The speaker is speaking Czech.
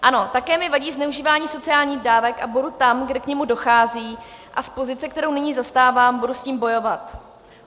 Ano, také mi vadí zneužívání sociálních dávek a budu tam, kde k němu dochází, a z pozice, kterou nyní zastávám, budu s tím bojovat.